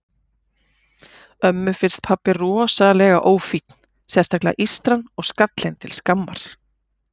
Ömmu finnst pabbi rosalega ófínn, sérstaklega ístran og skallinn til skammar.